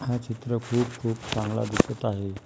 हा चित्र खूप खूप चांगला दिसत आहे.